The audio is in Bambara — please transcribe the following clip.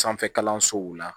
Sanfɛ kalansow la